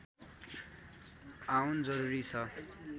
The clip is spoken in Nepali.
आउन जरूरी छ